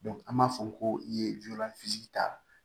an b'a fɔ ko i ye lujura ta